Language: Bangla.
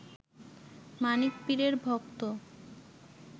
মানিক পীরের ভক্ত